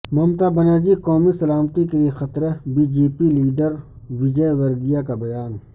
ممتا بنرجی قومی سلامتی کیلئے خطرہ B J P leader Vijayvargiya کا بیان